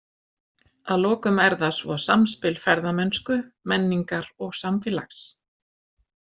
Að lokum er það svo samspil ferðamennsku, menningar og samfélags.